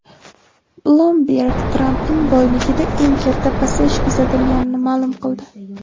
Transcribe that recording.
Bloomberg Trampning boyligida eng katta pasayish kuzatilganini ma’lum qildi.